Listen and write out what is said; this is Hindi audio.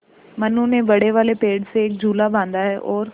मनु ने बड़े वाले पेड़ से एक झूला बाँधा है और